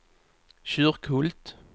Kyrkhult